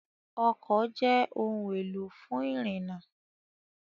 Ọkọ̀ jẹ́ ohun-èlò fún ìrìnnà.